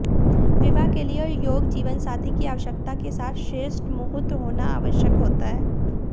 विवाह के लिए योग्य जीवनसाथी की आवश्यकता के साथ श्रेष्ठ मुहूर्त होना आवश्यक होता है